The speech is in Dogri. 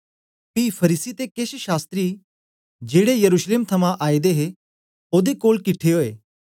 पी फरीसी ते केछ शास्त्री जेड़े यरूशलेम थमां आए दे हे ओदे कोल किट्ठे ओए